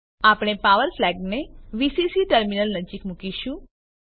આપણે પાવર ફ્લેગને VCC terminal નજીક મુકીશું